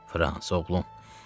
Frans, oğlum.